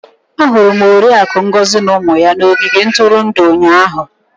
Ahụrụ m Oriakụ Ngozi na ụmụ ya n'ogige ntụrụndụ ụnyahụ.